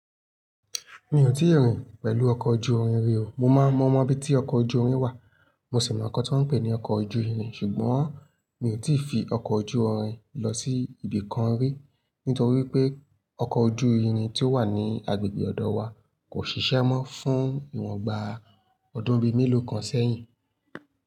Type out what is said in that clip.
Mi ò tíì rìn pẹ̀lú ọkọ̀ ojú-irin rí o. Mo máa mọ̀ mọ́ bí tí ọkọ̀ ojú-irin wà, mo sì mọ̀ nǹkan tó ń pè ní ọkọ̀ ojú-irin ṣùgbọ́n mi ò tí ì fi ọkọ̀ ojú-irin lọ sí ibìkan rí, nítorí pé ọkọ̀ ojú-irin tí ó wà ní agbègbè ọ̀dọ̀ wa kò ṣiṣẹ́ mọ́ fún ìwọ̀n gbà ọdún bíi mélòó kan sẹ́yìn.